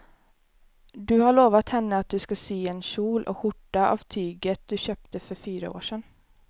Du har lovat henne att du ska sy en kjol och skjorta av tyget du köpte för fyra år sedan.